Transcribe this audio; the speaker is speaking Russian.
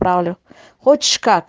хочешь